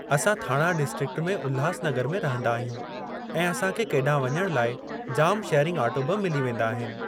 असां थाणा डिस्ट्रिक्ट में उल्हासनगर में रहंदा आहियूं ऐं असांखे केॾांहुं वञणु लाइ जामु शेयरिंग ऑटो ॿि मिली वेंदा आहिनि।